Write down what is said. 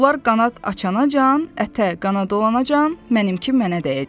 Bunlar qanad açanacan, ətə qana dolanacan, mənimkim mənə dəyəcək.